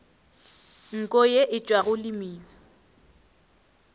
nko ye e tšwago lemina